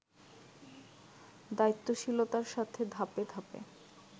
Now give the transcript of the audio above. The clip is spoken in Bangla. দায়িত্বশীলতার সাথে ধাপে ধাপে